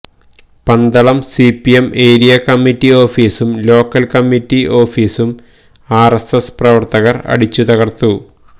Pandalam C P M area committee ഒഫീസും local committee ഓഫീസും R S S പ്രവർത്തകർ അടിച്ചുതകർത്തു